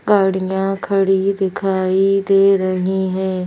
गाड़ियां खड़ी दिखाई दे रही हैं।